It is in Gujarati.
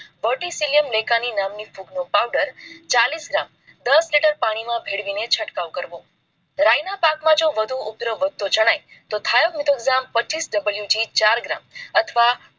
verticillium lecanii નામની ફૂગ નો powder ચાલીસ gram, દસ litre પાણી માં ભેળવી છંટકાવ કરવો. રાય ના પાક માં જો વધુ ઉપદ્રવ વધતો જણાય તો પચ્ચીસ WG ચાર gram અથવા